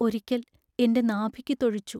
ഒരിക്കൽ എന്റെ നാഭിക്കു തൊഴിച്ചു.